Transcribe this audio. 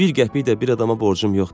Bir qəpik də bir adama borcum yoxdur.